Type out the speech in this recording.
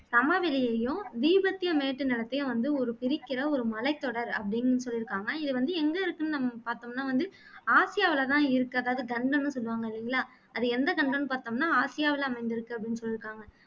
சமவெளியையும், தீபத்திய மேட்டுநிலத்தையும் வந்து பிரிக்கிற ஒரு மலைத்தொடர் அப்படின்னு சொல்லிருக்காங்க இதுவந்து எங்க இருக்குன்னு நம்ம பார்த்தோம்னா வந்து ஆசியாவிலே தான் இருக்கு அதாவது கண்டம்னு சொல்லுவாங்க இல்லைங்கலா அது எந்த கண்டம்னு பார்த்தோம்னா ஆசியாவிலே அமைந்திருக்கு அப்படின்னு சொல்லிருக்காங்க